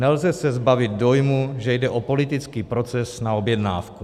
Nelze se zbavit dojmu, že jde o politický proces na objednávku.